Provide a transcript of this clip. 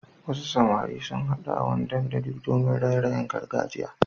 Wasu samari sun haɗu a wani dandali domin raye-rayen gargajiya.